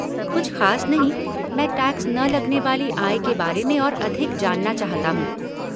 कुछ खास नहीं, मैं टैक्स न लगने वाली आय के बारे में और अधिक जानना चाहता हूँ।